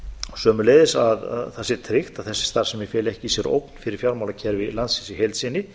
sömuleiðis að það sé tryggt að þessi starfsemi feli ekki í sér ógn fyrir fjármálakerfi landsins í heild sinni